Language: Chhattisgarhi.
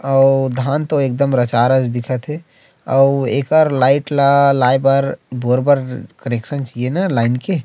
अउ धान तो एकदम रचा रच दिखत हे अउ एकर लाइट ला लाय बर बोर बर कनेक्शन चाहिए न लाइन के--